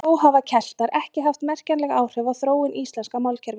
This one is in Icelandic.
Þó hafa Keltar ekki haft merkjanleg áhrif á þróun íslenska málkerfisins.